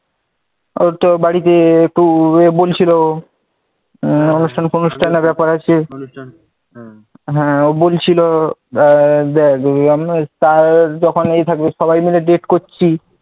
ও ত বাড়িতে একটু ইয়ে বলছিল, অনুষ্ঠান ফনুষ্ঠানের ব্যাপার আছে হ্যাঁ ও বলছিল আমরা সবাই মিলে date করছি